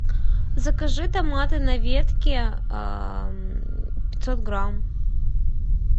закажи томаты на ветке пятьсот грамм